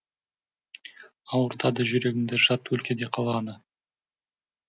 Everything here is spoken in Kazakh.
ауыртады жүрегімді жат өлкеде қалғаны